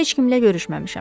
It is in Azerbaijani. Heç kimlə görüşməmişəm.